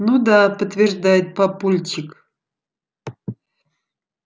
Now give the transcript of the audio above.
ну да подтверждает папульчик